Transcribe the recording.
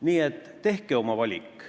Nii et tehke oma valik.